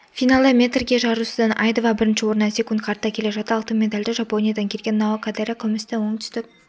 финалда метрге жарысудае айдова бірінші орыннан секундқа артта келе жатты алтын медальды жапониядан келген нао кодайра күмісті оңтүстік